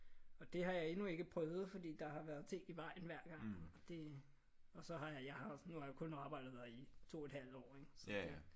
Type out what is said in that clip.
Og det har jeg endnu ikke prøvet fordi der har været ting i vejen hver gang. Og det og så har jeg jeg har nu har jeg kun arbejdet der i 2 et halvt år ik? Så det